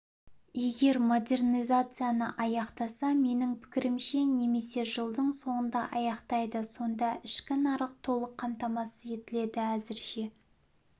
егер модернизацияны аяқтаса менің пікірімше немесе жылдың соңында аяқтайды сонда ішкі нарық толық қамтамасыз етіледі әзірше